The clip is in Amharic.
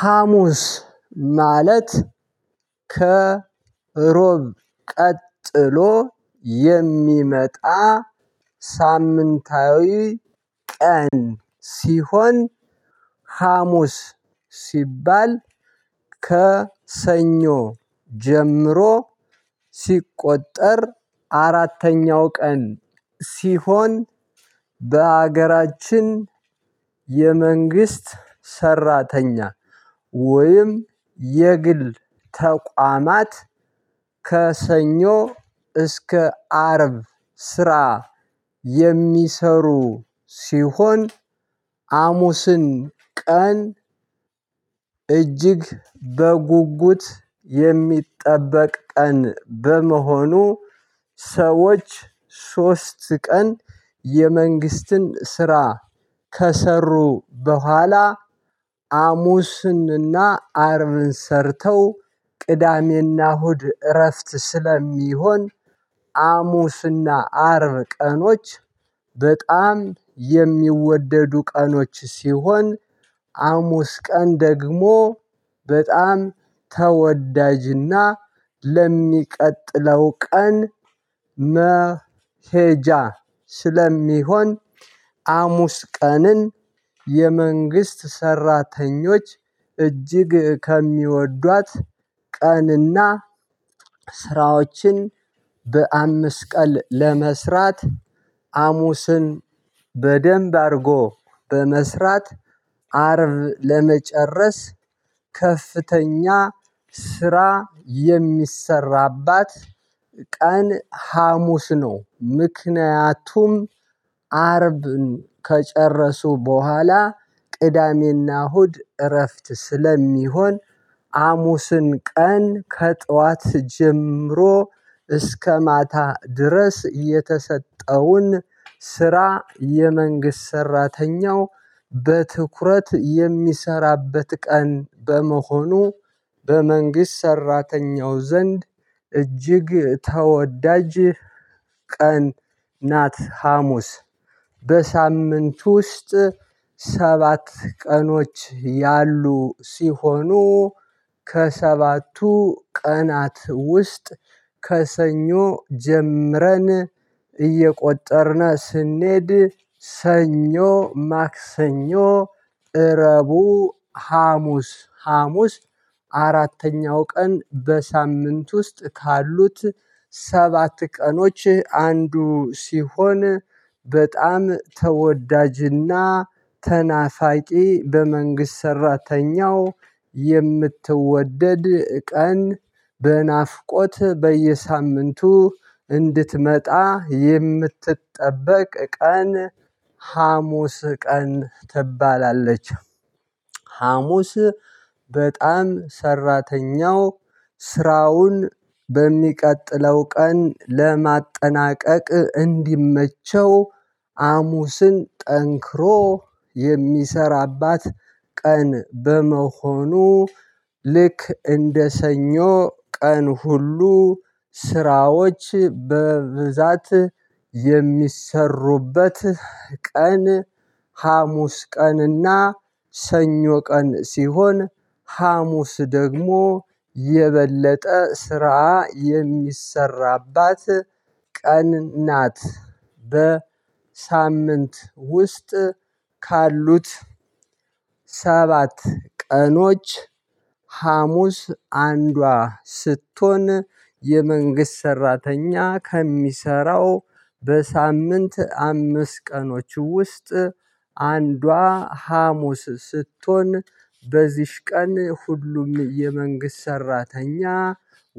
ሀሙስ ማለት ከሮብ ቀጥሎ የሚመጣ። ሳምንታዊ ቀን ሲሆን። ሀሙስ ሲባል ከሰኞ ጀምሮ ሲቆጠር አራተኛው ቀን ሲሆን። በአገራችን የመንግስት ሰራተኛ ወይም የግል ተቋማት። ከሰኞ እስከ አርብ ስራ የሚሰሩ ሲሆን። አሙስን ቀን እጅግ በጉጉት የሚጠበቅ ቀን በመሆኑ። ሰዎች ሶስት ቀን የመንግስትን ስራ ከሰሩ በኋላ። አሙስንና አርብን ሰርተው ቅዳሜና እሁድ እረፍት ስለሚሆን። አሙስና አርብ ቀኖች በጣም የሚወደዱ ቀኖች ሲሆን። አሙስ ቀን ደግሞ በጣም ተወዳጅና ለሚቀጥለው ቀን መሄጃ ስለሚሆን። አሙስ ቀንን የመንግስት ሰራተኞች እጅግ ከሚወዷት ቀንና። ስራዎችን በአምስት ቀን ለመስራት አሙስን በደንብ አድርጎ በመስራት አርብ ለመጨረስ። ከፍተኛ ስራ የሚሰራባት ቀን ሀሙስ ነው። ምክንያቱም አርብን ከጨረሱ በኋላ ቅዳሜና እሁድ እረፍት ስለሚሆን። አሙስን ቀን ከጧት ጀምሮ እስከ ማታ ድረስ የተሰጠውን ስራ የመንግስት ሰራተኛው በትኩረት የሚሰራበት ቀን በመሆኑ። በመንግስት ሰራተኛው ዘንድ እጅግ ተወዳጅ ቀን ናት። ሀሙስ በሳምንት ውስጥ ሰባት ቀኖች ያሉ ሲሆኑ። ከሰባቱ ቀናት ውስጥ ከሰኞ ጀምረን እየቆጠርን ስንሄድ ሰኞ ማክሰኞ እረቡ ሀሙስ ሀሙስ አራተኛው ቀን በሳምንት ውስጥ ካሉት ሰባት ቀኖች አንዱ ሲሆን። በጣም ተወዳጅና ተናፋቂ በመንግስት ሰራተኛው የምትወደድ ቀን በናፍቆት በየሳምንቱ እንድትመጣ የምትጠበቅ ቀን ሀሙስ ቀን ትባላለች። ሀሙስ በጣም ሰራተኛው ስራውን በሚቀጥለው ቀን ለማጠናቀቅ እንዲመቸው አሙስን ጠንክሮ የሚሰራባት ቀን በመሆኑ። ልክ እንደ ሰኞ ቀን ሁሉ ስራዎች በብዛት የሚሰሩበት ቀን። ሀሙስ ቀንና ሰኞ ቀን ሲሆን ሀሙስ ደግሞ የበለጠ ስራ የሚሰራባት ቀን ናት። በሳምንት ውስጥ ካሉት ሰባት ቀኖች ሀሙስ አንዷ ስትሆን የመንግስት ሰራተኛ ከሚሰራው በሳምንት አምስት ቀኖች ውስጥ። አንዷ ሀሙስ ስትሆን በዚህች ቀን ሁሉም የመንግስት ሰራተኛ